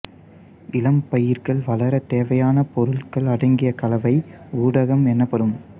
இளம் பயிர்கள் வளர தேவையான பொருள்கள் அடங்கிய கலவை ஊடகம் எனப்படும்